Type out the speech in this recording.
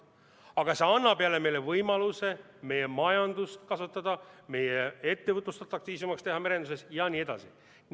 Aga see annab meile võimaluse meie majandust kasvatada, meie ettevõtlust merenduses atraktiivsemaks teha jne.